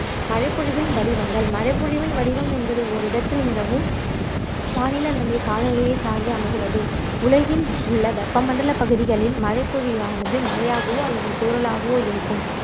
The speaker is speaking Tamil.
மழைப்பொழிவின் வடிவங்கள் மழைப்பொழிவின் வடிவம் என்பது ஓரிடத்தில் நிலவும் வானிலை அல்லது காலநிலையைச் சார்ந்தே அமைகிறது உலகின் உள்ள வெப்பமண்டலப் பகுதிகளில் மழைப்பொழிவானது மழையாகவோ அல்லது தூறலாகவோ இருக்கும்